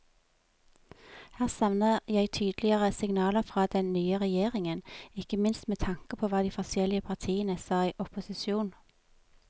Her savner jeg tydeligere signaler fra den nye regjeringen, ikke minst med tanke på hva de forskjellige partiene sa i opposisjon.